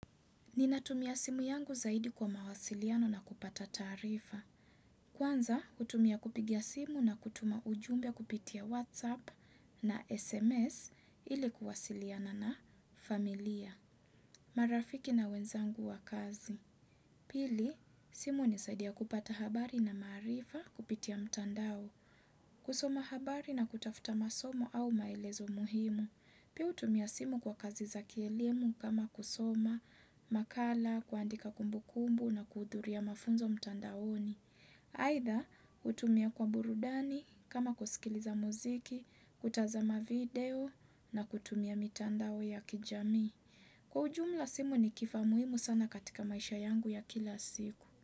Ninatumia simu yangu zaidi kwa mawasiliano na kupata taarifa. Kwanza, hutumia kupigia simu na kutuma ujumbe kupitia WhatsApp na SMS ili kuwasiliana na familia. Marafiki na wenzangu wa kazi. Pili, simu hunisaidia kupata habari na maarifa kupitia mtandao. Kusoma habari na kutafuta masomo au maelezo muhimu. Pia hutumia simu kwa kazi za kielimu kama kusoma makala, kuandika kumbukumbu na kuhudhuria mafunzo mtandaoni. Aaidha, hutumia kwa burudani kama kusikiliza muziki, kutazama video na kutumia mitandao ya kijamii. Kwa ujumla simu ni kifaa muhimu sana katika maisha yangu ya kila siku.